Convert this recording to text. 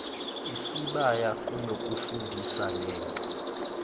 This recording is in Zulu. isibaya kunokufundisa lento